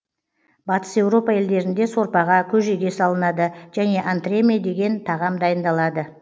батыс еуропа елдерінде сорпаға көжеге салынады және антреме деген тағам дайындалынады